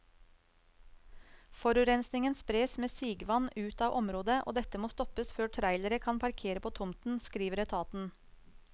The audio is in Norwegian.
Forurensningen spres med sigevann ut av området, og dette må stoppes før trailere kan parkere på tomten, skriver etaten.